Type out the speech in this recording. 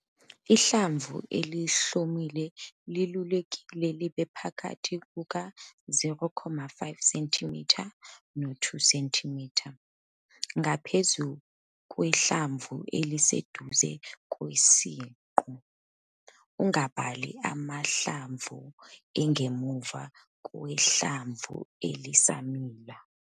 Ihlamvu elihlumile liluleke libe phakathi kuka-0,5 cm no-2 cm ngaphezu kwehlamvu eliseduze kwesiqu, ungabali amahlamvu angemuva kwehlamvu elisamila.